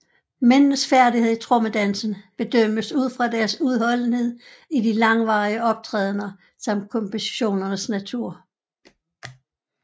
Mændenes færdigheder i trommedansen bedømmes ud fra deres udholdenhed i de langvarige optrædener samt kompositionernes natur